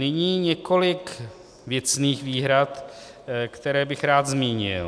Nyní několik věcných výhrad, které bych rád zmínil.